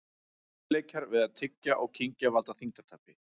Erfiðleikar við að tyggja og kyngja valda þyngdartapi.